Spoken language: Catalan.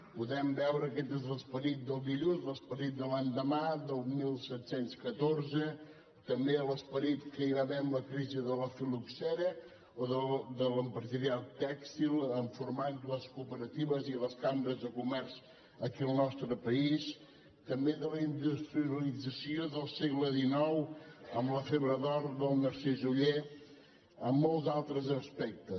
podem veure que aquest és l’esperit del dilluns l’esperit de l’endemà del disset deu quatre també l’esperit que hi va haver amb la crisi de la fil·loxera o de l’empresariat tèxtil en formar les cooperatives i les cambres de comerç aquí al nostre país també de la industrialització del segle xix amb la febre d’or del narcís oller en moltes altres aspectes